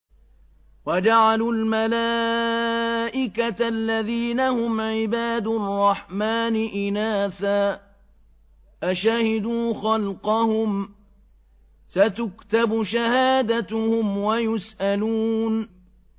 وَجَعَلُوا الْمَلَائِكَةَ الَّذِينَ هُمْ عِبَادُ الرَّحْمَٰنِ إِنَاثًا ۚ أَشَهِدُوا خَلْقَهُمْ ۚ سَتُكْتَبُ شَهَادَتُهُمْ وَيُسْأَلُونَ